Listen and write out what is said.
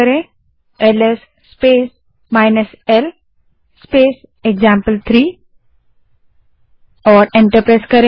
अब LS space l space example three type करें और एंटर दबायें